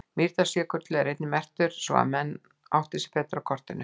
Mýrdalsjökull er einnig merktur svo að menn átti sig betur á kortinu.